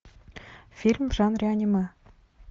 фильм в жанре аниме